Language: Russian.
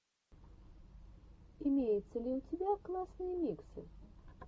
имеется ли у тебя классные миксы